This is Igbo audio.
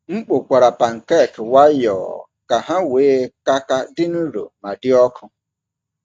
M kpokwara pancake nwayọọ ka ha wee ka ka dị nro ma dị ọkụ.